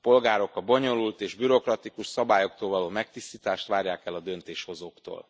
A polgárok a bonyolult és bürokratikus szabályoktól való megtisztítást várják el a döntéshozóktól.